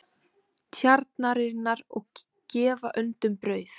Tjarnarinnar og gefa öndum brauð.